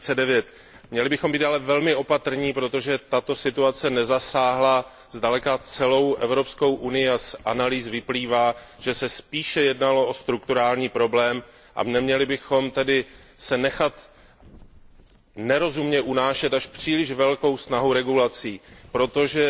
2009. Měli bychom být ale velmi opatrní, protože tato situace nezasáhla zdaleka celou Evropskou unii, a z analýz vyplývá, že se spíše jednalo o strukturální problém. Neměli bychom se tedy nechat nerozumně unášet až příliš velkou snahou o regulaci, protože